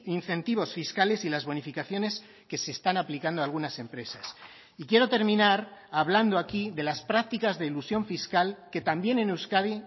incentivos fiscales y las bonificaciones que se están aplicando a algunas empresas y quiero terminar hablando aquí de las prácticas de elusión fiscal que también en euskadi